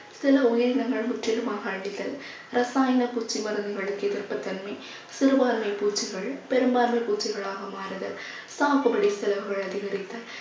சில உயிரினங்கள் முற்றிலுமாக அழித்தல் ரசாயன குச்சி மருந்துகளுக்கு எதிர்ப்புத்தன்மை சிறுபான்மை பூச்சிகள் பெரும்பான்மை பூச்சிகளாக மாறுதல் சாகுபடி செலவுகள் அதிகரித்தல்